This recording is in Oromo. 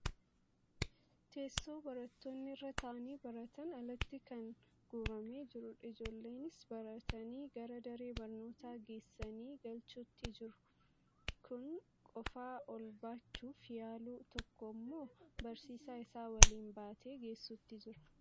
Teessoo barattoonni irra taa'anii baratan alatti kan guuramee jirudha. Ijoollenis baatani gara daree barnootaa geessanii galchuutti jiru. Kun qofaa ol baachuuf yaalu, tokko ammoo barsiisaa isaa waliin baatee geessutti jira.